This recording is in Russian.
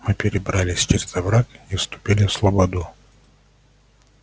мы перебрались через овраг и вступили в слободу